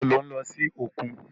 Ìgbà wo lò ń lọ sókun?